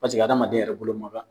Paseke adamaden yɛrɛ bolo ma kan